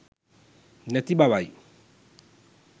නැති බවයි.